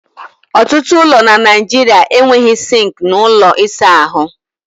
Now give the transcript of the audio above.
Ọtụtụ ụlọ na Naijiria enweghị sinki na ųlo ịsa ha.